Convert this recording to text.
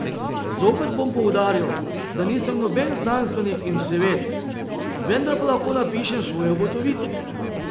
Zopet bom poudaril, da nisem noben znanstvenik in vseved, vendar pa lahko napišem svoje ugotovitve.